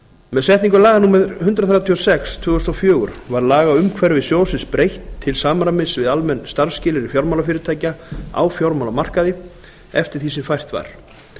með setningu laga númer hundrað þrjátíu og sex tvö þúsund og fjögur var lagaumhverfi sjóðsins breytt til samræmis við almenn starfsskilyrði fjármálafyrirtækja á fjármálamarkaði eftir því sem fært var